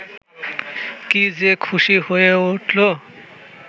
কী-যে খুশি হয়ে উঠল